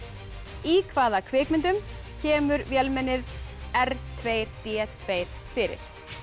í hvaða kvikmyndum kemur vélmennið r tvö b tvö fyrir